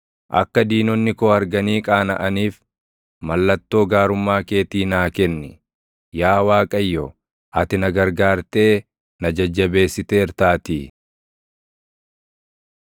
Akka diinonni koo arganii qaanaʼaniif, mallattoo gaarummaa keetii naa kenni; yaa Waaqayyo, ati na gargaartee na jajjabeessiteertaatii.